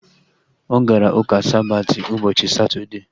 Ọ gara ụka Sabati ụbọchị Satọdee